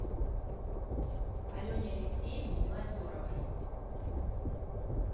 алене алексеевне белозеровой